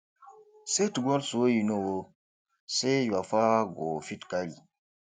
set goals wey you know um sey your power go fit carry